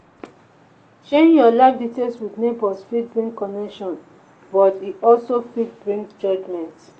sharing your life details with neighbors fit bring connection but e also fit bring judgment.